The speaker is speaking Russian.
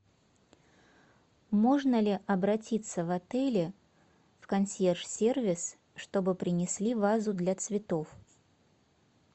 можно ли обратиться в отеле в консьерж сервис чтобы принесли вазу для цветов